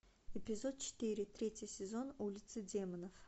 эпизод четыре третий сезон улицы демонов